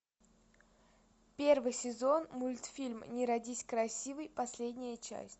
первый сезон мультфильм не родись красивой последняя часть